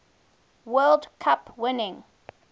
world cup winning